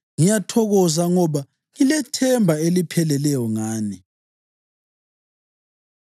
Ngiyathokoza ngoba ngilethemba elipheleleyo ngani.